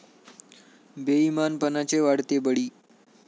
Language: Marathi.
बेइमानपणाचे वाढते बळी